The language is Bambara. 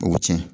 O bɛ tiɲɛ